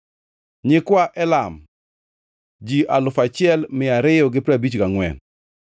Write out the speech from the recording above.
nyikwa Elam, ji alufu achiel mia ariyo gi piero abich gangʼwen (1,254),